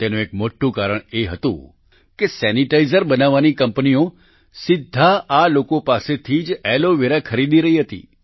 તેનું એક મોટું કારણ એ હતું કે સેનિટાઈઝર બનાવનારી કંપનીઓ સીધા આ લોકો પાસેથી જ એલોવેરા ખરીદી રહી હતી